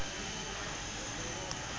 ba ke ke ba o